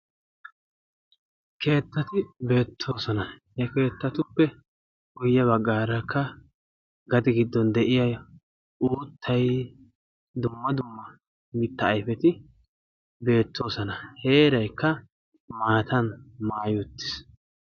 keettati beettoosona, he keettatuppe guyye baggaarakka gade giddon de'iyaa uuttay dumma dumma mitta ayfeti beettoosona. heeraykka maatan maayi uttiis.